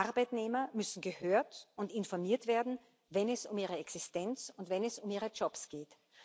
Arbeitnehmer müssen gehört und informiert werden, wenn es um ihre Existenz und wenn es um ihre Jobs geht.